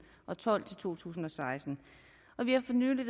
og tolv til to tusind og seksten og vi har for nylig